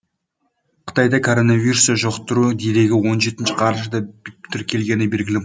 қытайда коронавирусты жұқтыру дерегі он жетінші қарашада тіркелгені белгілі